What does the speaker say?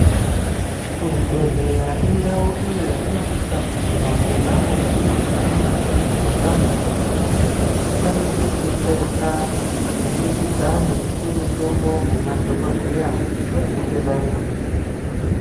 Kuzvibhedhlera indau iyo yatinosisa kuguma ponapo patinozwa nyama dzedu dzeipanda kuti tikwanise kudetsereka kubudikidza ngekupuwe mutombo ngemadhogodheya vanenge variyo.